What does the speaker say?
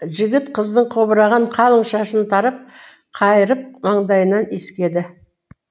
жігіт қыздың қобыраған қалың шашын тарап қайырып маңдайынан иіскеді